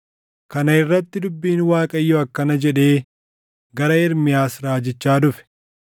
Kana irratti dubbiin Waaqayyoo akkana jedhee gara Ermiyaas raajichaa dhufe: